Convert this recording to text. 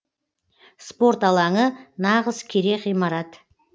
спорт алаңы нағыз керек ғимарат